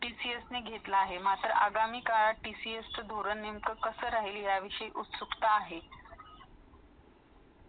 TCS नि घेतला आहे मात्र अध्यानी काळात TCS ने धुरून निमका कशी राहील या बद्दल उकसूक्त आहे .